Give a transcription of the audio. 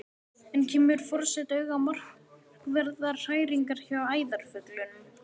Enn kemur forseti auga á markverðar hræringar hjá æðarfuglinum.